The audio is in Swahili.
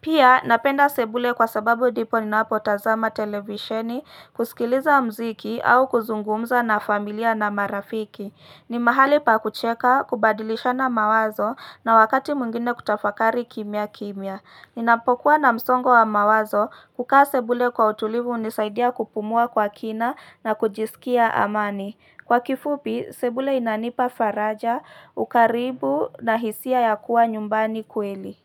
Pia napenda sebule kwa sababu ndipo ninapotazama televisheni kusikiliza mziki au kuzungumza na familia na marafiki ni mahali pa kucheka, kubadilisha na mawazo na wakati mwingine kutafakari kimya kimya Ninapokuwa na msongo wa mawazo kukaa sebule kwa utulivu hunisaidia kupumua kwa kina na kujisikia amani Kwa kifupi, sebule inanipa faraja, ukaribu na hisia ya kuwa nyumbani kweli.